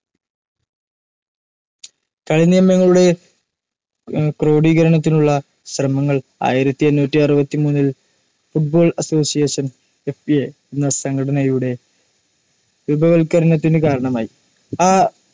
കളിനിയമങ്ങളുടെ ക്രോഡീകരണത്തിനുളള ശ്രമങ്ങൾ ആയിരത്തി എണ്ണൂറ്റി അറുപത്തിമൂന്നിൽ football ssociation FA എന്ന സംഘടനയുടെ രൂപവത്കരണത്തിനു കാരണമായി. ആ